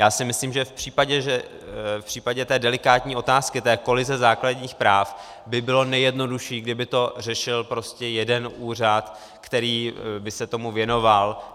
Já si myslím, že v případě té delikátní otázky, té kolize základních práv by bylo nejjednodušší, kdyby to řešil prostě jeden úřad, který by se tomu věnoval.